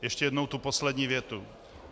Ještě jednou tu poslední větu.